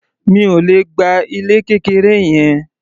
Mi ò le gba ilé kékeré yẹn.